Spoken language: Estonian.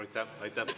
Aitäh!